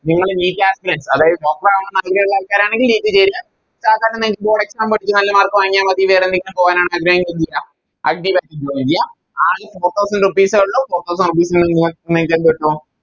നിങ്ങള് NEET ആണെങ്കിൽ അതായത് Doctor ആവാൻ ആഗ്രഹിള്ള ആൾക്കാരാണെങ്കിൽ NEET ചേരുക സാധാരണ Board exam എഴിതി നല്ല Mark വാങ്ങിയ മതി വേറെന്തിനെങ്കിലും പോകാനാണാഗ്രഹമെങ്കില് അഡ്‌ജിലേക്ക് Join ചെയ്യാ ആകെ Four thousand rupees എ ഉള്ളു Four thousand rupees ന് നി നിങ്ങക്കെന്ത് എന്ത്ചെയ്യാൻ പറ്റൂ